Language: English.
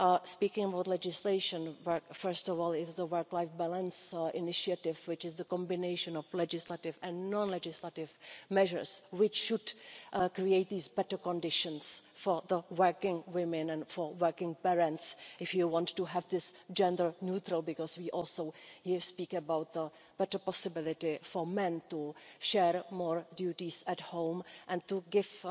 Speaking about legislation, first of all, there is the work life balance initiative, the combination of legislative and non legislative measures which should create these better conditions for the working women and for working parents if you want to have this gender neutral, because we also here speak about the better possibility for men to share more duties at home and to give